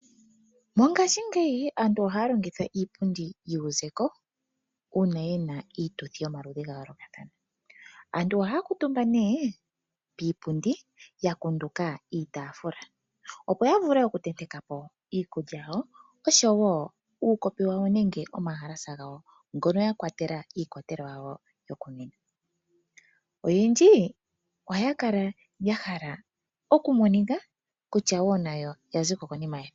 Mongaashingeyi aantu ohaya longitha iipundi yuuzeko uuna ye na iituthi yomaludhi gayoolokathana. Aantu ohaya kuutumba nee piipundi ya kunduka iitaafula opo ya vule oku tenteka po iikulya yawo oshowo uukopi nomahalasa gawo ngono ya kwatela iikwatelwa yawo yokunwina. Oyendji ohaya kala nayo ya hala oku monika kutya ya ziko konima yesiga.